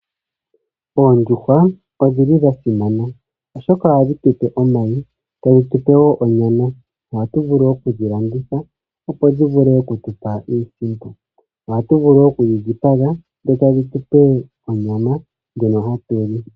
Oondjuhwa odhi li dha simana, oshoka ohadhi tu pe omayi, ta dhi tu pe wo onyama. Oha tu vulu wo oku dhi landitha opo tu mone iisimpo. Ohatu vulu wo oku dhi dhipaga etadhi tu pe onyama ndjono ha tu li.